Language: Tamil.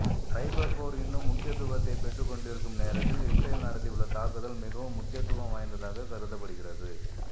சைபர் போர் இன்னும் முக்கியத்துவத்தை பெற்றுக் கொண்டிருக்கும் நேரத்தில் இஸ்ரேல் நடத்தியுள்ள தாக்குதல் மிகவும் முக்கியத்துவம் வாய்ந்ததாக கருதப்படுகிறது